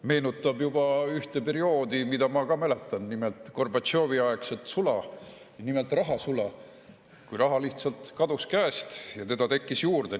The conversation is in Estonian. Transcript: Meenutab juba ühte perioodi, mida ma ka mäletan: Gorbatšovi-aegset sula, ja nimelt rahasula, kui raha lihtsalt kadus käest ja teda tekkis juurde.